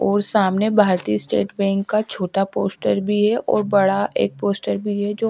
और सामने भारतीय स्टेट बैंक का छोटा पोस्टर भी है और बड़ा एक पोस्टर भी है जो--